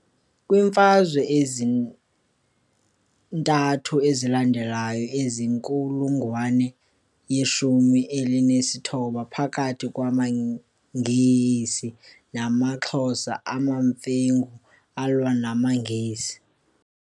Kwiimfazwe ezintathu ezalandelayo zenkulungwane yeshumi elinesithoba phakathi kwamaNgesi namaXhosa, amaMfengu alwa namaNgesi.